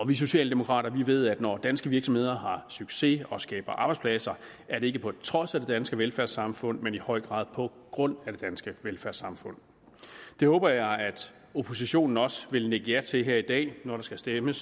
vi socialdemokrater ved at når danske virksomheder har succes og skaber arbejdspladser er det ikke på trods af det danske velfærdssamfund men i høj grad på grund af det danske velfærdssamfund det håber jeg oppositionen også vil nikke ja til her i dag når vi skal stemme